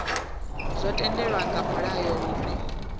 zwo tendelwa nga mulayo hune